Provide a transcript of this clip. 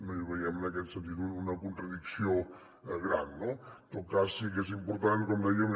no hi veiem en aquest sentit una contradicció gran no en tot cas sí que és important com dèiem